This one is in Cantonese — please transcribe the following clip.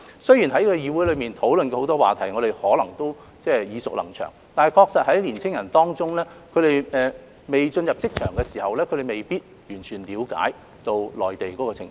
雖然在議會上討論過的議題很多都耳熟能詳，但對年青人而言，他們尚未進入職場，確實未必能完全了解內地的情況。